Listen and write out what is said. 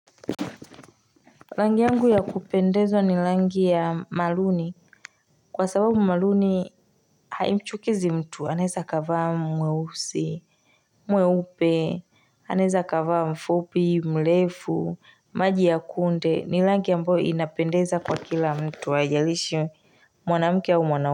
Rangi yangu ya kupendezwa ni rangi ya maruni Kwa sababu maruni haimchukizi mtu, anaweza akavaa mweusi, mweupe, anaweza kavaa mfupi, mrefu, maji ya kunde ni rangi ambayo inapendeza kwa kila mtu, haijalishi mwanamke au mwanaume.